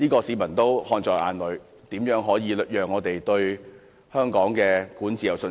市民看在眼裏，怎可能對香港的管治有信心？